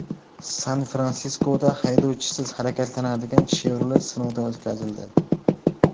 San-Fransiskoda haydovchisiz harakatlanadigan Chevrolet sinovdan o‘tkazildi .